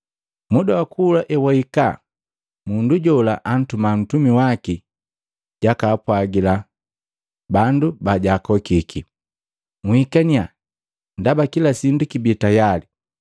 Muda wa kula ewahika, mundu jola antuma ntumi waki jakaapwagila bandu bajaakokiki, ‘Nhikaniya, ndaba kila sindu kibi tayali!’